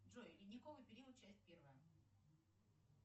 джой ледниковый период часть первая